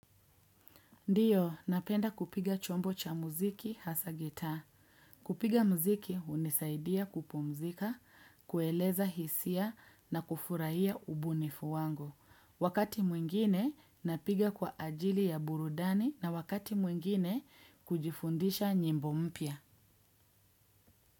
Ndiyo, napenda kupiga chombo cha muziki hasa gitaa. Kupiga muziki hunisaidia kupumzika, kueleza hisia na kufurahia ubunifu wangu. Wakati mwingine napiga kwa ajili ya burudani na wakati mwingine kujifundisha nyimbo mpya.